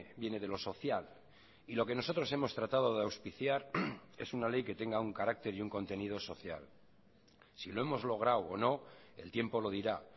viene de lo social y lo que nosotros hemos tratado de auspiciar es una ley que tenga un carácter y un contenido social si lo hemos logrado o no el tiempo lo dirá